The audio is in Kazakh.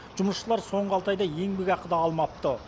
жұмысшылар соңғы алты айда еңбекақы да алмапты